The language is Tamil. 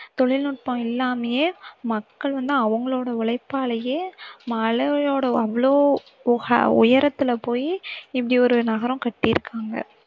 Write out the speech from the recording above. தொழில்நுட்பம் இல்லாமையே மக்கள் வந்து அவங்களோட உழைப்பாலேயே மலையோட அவ்ளோ உஹா~ உயரத்தில போயி இப்படி ஒரு நகரம் கட்டியிருக்காங்க